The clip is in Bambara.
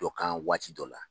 Dɔ kan waati dɔ la,